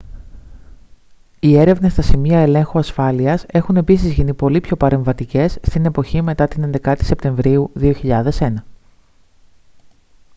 οι έρευνες στα σημεία ελέγχου ασφάλειας έχουν επίσης γίνει πολύ πιο παρεμβατικές στην εποχή μετά την 11η σεπτεμβρίου 2001